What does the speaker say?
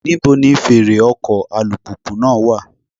Níbo ni fèrè ọkọ̀ alùpùpù náà wà?